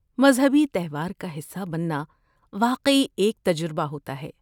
مذہبی تہوار کا حصہ بننا واقعی ایک تجربہ ہوتا ہے۔